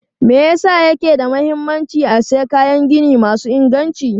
Me yasa yake da mahimmanci a sayi kayan gini masu inganci?